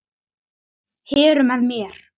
Heru með mér.